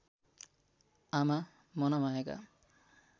आमा मनमायाका